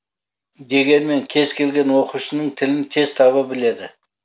дегенмен кез келген оқушының тілін тез таба біледі